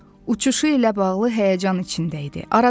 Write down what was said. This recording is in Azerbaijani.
Uçuşu ilə bağlı həyəcan içində idi.